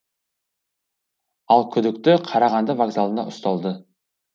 ал күдікті қарағанды вокзалында ұсталды